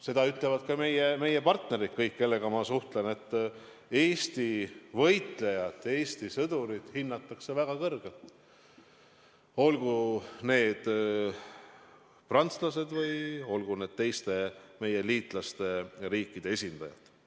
Seda ütlevad ka meie partnerid, kõik, kellega ma suhtlen, et Eesti võitlejat, Eesti sõdurit hinnatakse väga kõrgelt – olgu need prantslased või olgu need teiste meie liitlasriikide esindajad.